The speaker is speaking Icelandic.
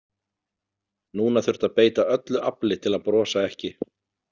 Núna þurfti að beita öllu afli til að brosa ekki.